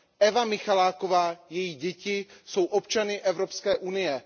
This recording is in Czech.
Eva Michaláková a její děti jsou občany Evropské unie.